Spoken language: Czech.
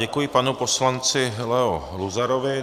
Děkuji panu poslanci Leo Luzarovi.